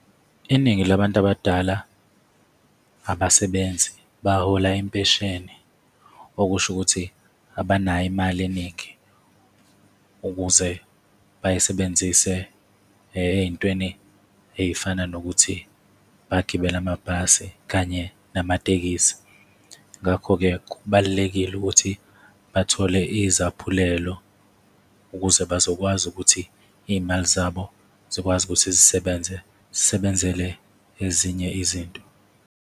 Iningi labantu abadala abasebenzi, bahola impesheni. Okusho ukuthi abanayo imali eningi ukuze bayisebenzise ey'ntweni ey'fana nokuthi bagibele amabhasi kanye namatekisi. Ngakho-ke, kubalulekile ukuthi bathole izaphulelo ukuze bazokwazi ukuthi iy'mali zabo zikwazi ukuthi zisebenze, zisebenzele ezinye izinto.